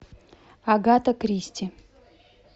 агата кристи